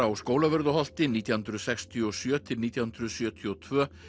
á Skólavörðuholti nítján hundruð sextíu og sjö til nítján hundruð sjötíu og tvö